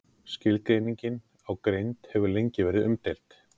Skilgreiningin á greind hefur lengi verið umdeild.